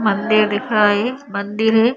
मंदिर दिख रहा है ये मंदिर है।